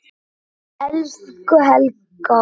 Elsku Helga.